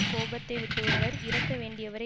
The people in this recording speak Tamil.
கோபத்தை விட்டுவிட்டவர் இறக்க வேண்டியவரே